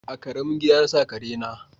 A ƙaramin gida na sa kare na